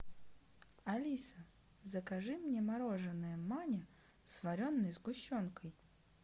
алиса закажи мне мороженое маня с вареной сгущенкой